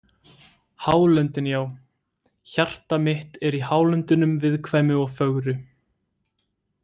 Hálöndin Já, hjarta mitt er í Hálöndunum viðkvæmu og fögru.